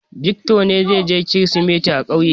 Victor ne zai je Kirsimeti a ƙauye.